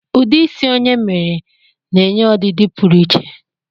Ụdị isi onye mere na-enye ọdịdị pụrụ iche